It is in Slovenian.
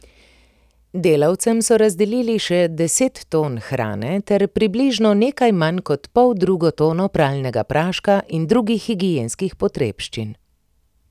Delavcem so razdelili še deset ton hrane ter približno nekaj manj kot poldrugo tono pralnega praška in drugih higienskih potrebščin.